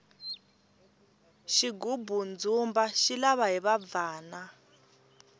xigubu ndzumba xi lava hiva bvana